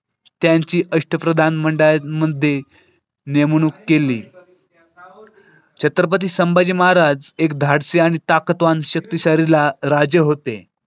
त्यांची अष्टप्रधान मंडळात म्हणते, नेमणूक केली. छत्रपती संभाजी महाराज एक धाडसी आणि ताकतवान शक्तिशाली राजे होते.